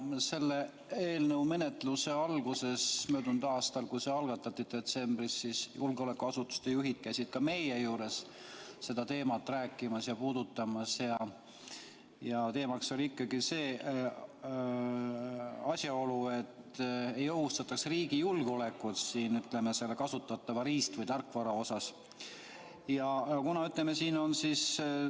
Selle eelnõu menetluse alguses möödunud aastal käisid julgeolekuasutuste juhid ka meie juures sellel teemal rääkimas ja teemaks oli ikkagi see, et kasutatava riist- või tarkvaraga ei ohustataks riigi julgeolekut.